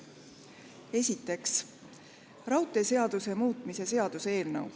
Esiteks, raudteeseaduse muutmise seaduse eelnõu.